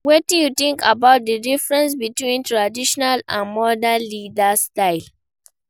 Wetin you think about di difference between traditional and modern leaders styles?